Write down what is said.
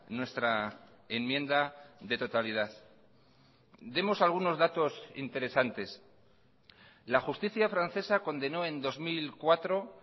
nuestra enmienda de totalidad demos algunos datos interesantes la justicia francesa condenó en dos mil cuatro